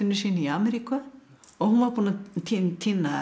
sínu í Ameríku og hún var búin að týna týna